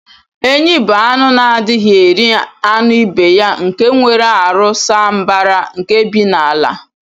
Enyi bu anụ na adighi eri anụ ibeya nke nwere arụ saa mbara nke bi n'ala.